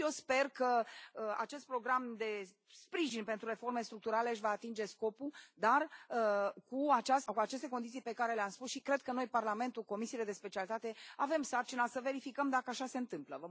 Și eu sper că acest program de sprijin pentru reforme structurale își va atinge scopul, dar cu aceste condiții pe care le am spus, și cred că noi, Parlamentul, comisiile de specialitate, avem sarcina să verificăm dacă așa se întâmplă.